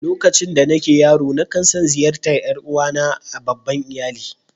Lokacin da nake yaro, na kan tson ziyartar ’yan uwa na a' babban iyalli.